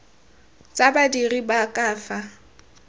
tsa badiri ba ka fa